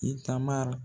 I taama